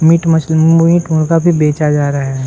Meet मछली meat मुर्गा भी बेचा जा रहा है ।